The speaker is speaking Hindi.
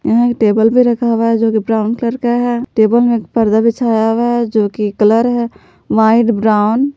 यहां एक टेबल भी रखा हुआ है जो कि ब्राउन कलर का है टेबल में एक पर्दा बिछाया हुआ है जो की कलर है व्हाइट ब्राउन ।